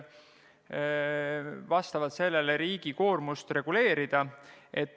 Vastavalt sellele võiks riigi koormust reguleerida.